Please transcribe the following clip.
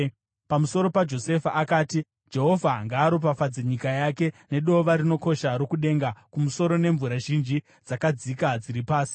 Pamusoro paJosefa akati: “Jehovha ngaaropafadze nyika yake nedova rinokosha rokudenga kumusoro nemvura zhinji dzakadzika dziri pasi;